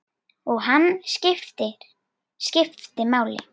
Og hann skipti máli.